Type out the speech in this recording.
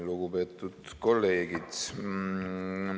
Lugupeetud kolleegid!